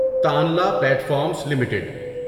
تانلا platforms limited